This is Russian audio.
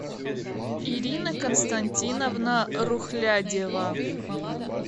ирина константиновна рухлядева